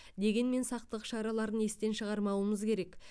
дегенмен сақтық шараларын естен шығармауымыз керек